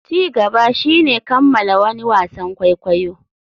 Ci gaba shine kammala wani wasan kwaikwayo.